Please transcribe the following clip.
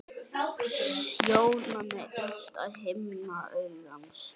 Sjónan er innsta himna augans.